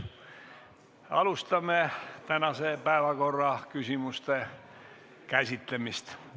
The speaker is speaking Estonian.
Alustame tänase päevakorra küsimuste käsitlemist.